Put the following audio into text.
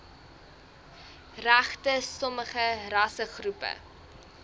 regte sommige rassegroepe